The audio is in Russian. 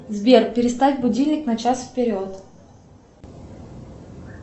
сбер переставь будильник на час вперед